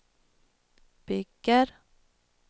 bygger